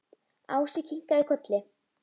Ási kinkaði kolli.